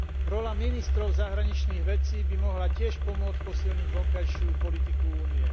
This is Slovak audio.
Rola ministrov zahraničných vecí by mohla tiež pomôcť posilniť vonkajšiu politiku Únie.